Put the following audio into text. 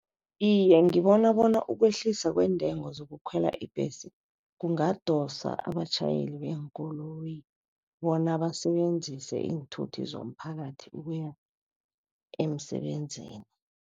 Iye, ngibona bona ukwehliswa kweentengo zokukhwela iimbhesi kungadosa abatjhayeli beenkoloyi bona basebenzise iinthuthi zomphakathi ukuya emsebenzini.